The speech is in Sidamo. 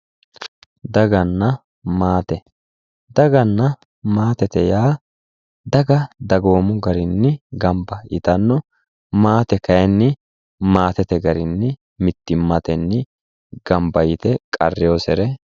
Daganna maate, daganna maate, maatete yaa daga dagoomu garinni gamba yittano maate kayinni maatete garinni mittimmatenni gamba yite qarrinosere.